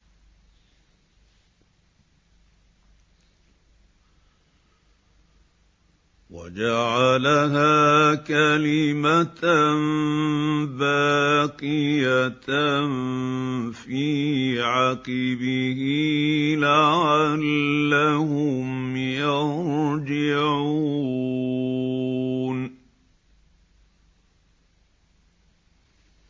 وَجَعَلَهَا كَلِمَةً بَاقِيَةً فِي عَقِبِهِ لَعَلَّهُمْ يَرْجِعُونَ